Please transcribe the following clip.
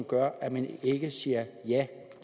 gør at man ikke siger ja